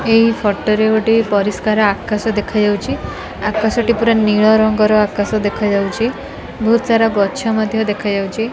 ଏଇ ଫୋଟ ରେ ଗୋଟେ ପରିଷ୍କାର ଆକାଶ ଦେଖାଯାଉଛି ଆକାଶଟି ପୂରା ନୀଳ ରଙ୍ଗର ଆକାଶ ଦେଖାଯାଉଛି ବହୁତ ସାରା ଗଛ ମଧ୍ଯ ଦେଖାଯାଉଚି।